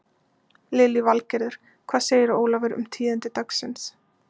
Lillý Valgerður: Hvað segirðu Ólafur um tíðindi dagsins?